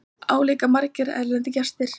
Álíka margir erlendir gestir